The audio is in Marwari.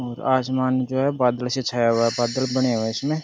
और आसमान जो है बादल से छाया हुआ है बादल बने हुए है इसमें।